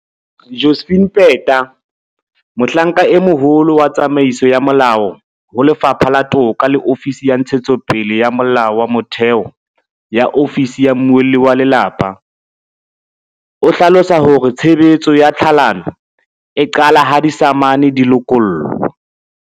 Josephine Peta, Mohlanka e Moholo wa Tsamaiso ya Molao ho Lefapha la Toka le Ofisi ya Ntshetsopele ya Molao wa Motheo ya Ofisi ya Mmuelli wa Lelapa, o hlalosa hore tshebetso ya tlhalano e qala ha disamane di lokollwa.